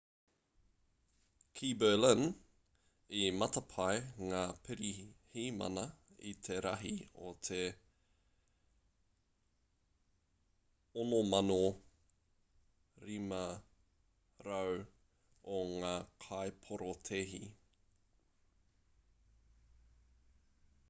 ki berlin i matapae ngā pirihimana i te rahi o te 6,500 o ngā kaiporotēhi